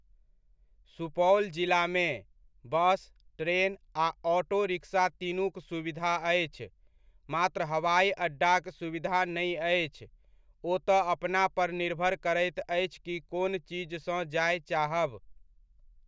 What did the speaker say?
सुपौल जिलामे, bus, train आ auto rickshaw तीनुक सुविधा अछि, मात्र हवाइ अड्डाक सुविधा नहि अछि, ओ तऽ अपना पर निर्भर करैत अछि कि कोन चीज सँ जाय चाहब।